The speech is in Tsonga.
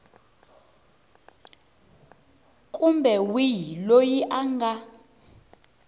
kumbe wihi loyi a nga